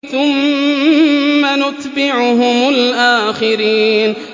ثُمَّ نُتْبِعُهُمُ الْآخِرِينَ